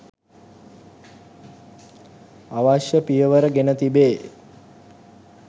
අවශ්‍ය පියවර ගෙන තිබේ